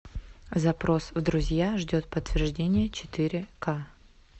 запрос в друзья ждет подтверждения четыре ка